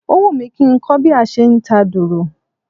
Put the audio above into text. Ó wùmí kí nkó bí a se nta dùrù